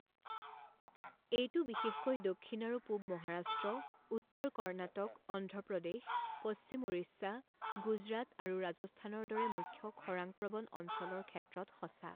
এইটো বিশেষকৈ দক্ষিণ আৰু পূৱ মহাৰাষ্ট্ৰ, উত্তৰ কৰ্ণাটক, অন্ধ্ৰ প্ৰদেশ, পশ্চিম উৰিষ্যা, গুজৰাট আৰু ৰাজস্থানৰ দৰে মুখ্য খৰাং প্ৰৱণ অঞ্চলৰ ক্ষেত্ৰত সঁচা।